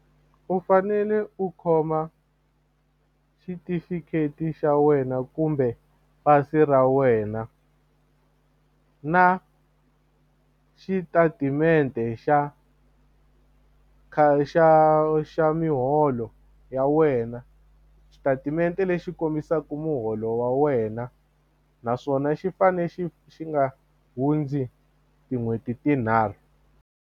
U fanele u khoma xitifiketi xa wena kumbe pasi ra wena na xitatimende xa xa xa miholo ya wena xitatimende lexi kombisaka muholo wa wena naswona xi fane xi xi nga hundzi tin'hweti tinharhu.